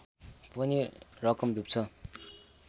पनि रकम डुब्छ